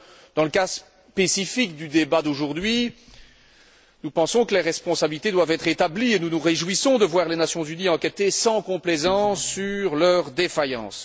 Alors, dans le cas spécifique du débat d'aujourd'hui, nous pensons que les responsabilités doivent être établies et nous nous réjouissons de voir les Nations unies enquêter sans complaisance sur leurs défaillances.